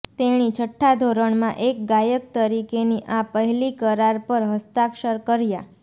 તેણી છઠ્ઠા ધોરણમાં એક ગાયક તરીકેની આ પહેલી કરાર પર હસ્તાક્ષર કર્યા